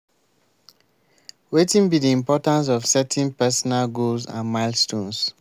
wetin be di importantce of setting personal goals and milestones?